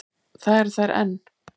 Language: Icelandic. Það eru þær enn.